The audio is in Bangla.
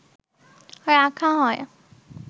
রাখা হয়